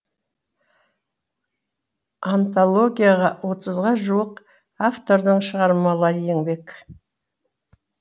антологияға отызға жуық автордың шығармалары енбек